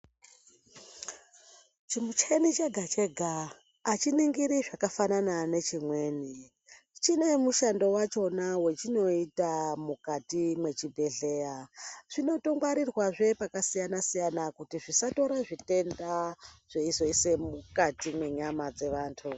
Chimucheni chega chega achiningiri zvakanaka ngezvimweni chine mushando wacho wachinoita mukati mezvibhedhlera zvinotongwarirwa zvepakasiyana siyana kuti zvisatira zvitenda zveisoisa mukati mevantu.